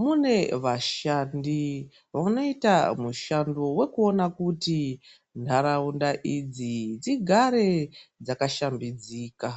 mune vashandi vanoita mushando wekuona kuti nharaunda idzi dzigare dzakashambidzika.